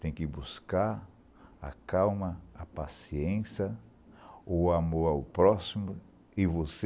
Tem que buscar a calma, a paciência, o amor ao próximo e você